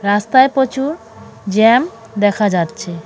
রাস্তায় প্রচুর জ্যাম দেখা যাচ্ছে .